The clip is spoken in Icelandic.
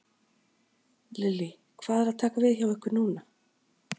Lillý: Hvað er að taka við hjá ykkur núna?